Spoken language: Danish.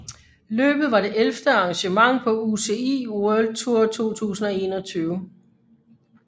Løbet var det ellevte arrangement på UCI World Tour 2021